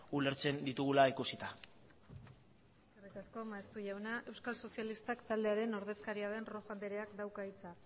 ulertzen ditugula ikusita eskerrik asko maeztu jauna euskal sozialistak taldearen ordezkaria den rojo andreak dauka hitza